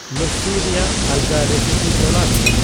ᱞᱚᱥᱥᱤ ᱨᱮᱭᱟᱜ ᱟᱞᱜᱟ ᱨᱮᱥᱤᱯᱤ ᱛᱚᱞᱟᱥ ᱢᱮ